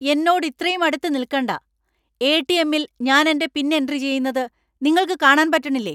എന്നോട് ഇത്രയും അടുത്ത് നിൽക്കണ്ട ! എ.ടി.എം.ൽ ഞാൻ എന്‍റെ പിൻ എൻട്രി ചെയുന്നത് നിങ്ങൾക്ക് കാണാൻ പറ്റണില്ലേ ?